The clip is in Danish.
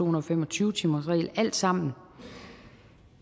og fem og tyve timersregel alt sammen